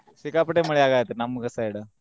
ಸಿಕ್ಕಾಪಟ್ಟೆ ಮಳಿ ಆಗಾತೆತ್ರಿ ನಮ್ಮ side .